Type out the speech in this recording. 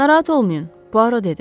Narahat olmayın, Puaro dedi.